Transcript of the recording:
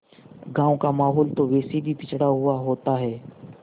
गाँव का माहौल तो वैसे भी पिछड़ा हुआ होता है